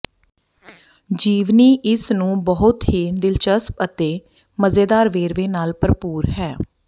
ਜੀਵਨੀ ਇਸ ਨੂੰ ਬਹੁਤ ਹੀ ਦਿਲਚਸਪ ਅਤੇ ਮਜ਼ੇਦਾਰ ਵੇਰਵੇ ਨਾਲ ਭਰਪੂਰ ਹੈ